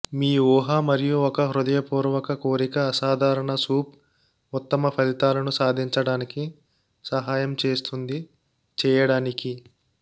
మీ ఊహ మరియు ఒక హృదయపూర్వక కోరిక అసాధారణ సూప్ ఉత్తమ ఫలితాలను సాధించడానికి సహాయం చేస్తుంది చేయడానికి